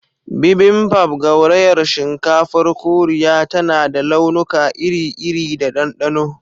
Bibimbap, gaurayar shinkafar Koriya, tana da launuka iri-iri da ɗanɗano.